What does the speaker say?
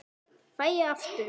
Fæ ég aftur?